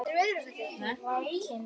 Vakinn og sofinn.